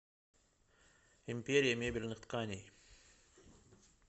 империя мебельных тканей